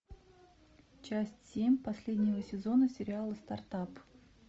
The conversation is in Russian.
часть семь последнего сезона сериала старт ап